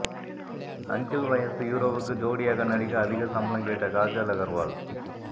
uncle வயசு ஹீரோவுக்கு ஜோடியாக நடிக்க அதிக சம்பளம் கேட்ட காஜல் அகர்வால்